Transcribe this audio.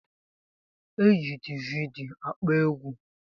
Eji dividi akpọ egwu